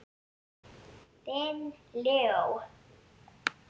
Þinn Leó.